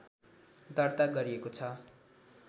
दर्ता गरिएको छ